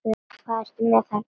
Hvað ertu með þarna?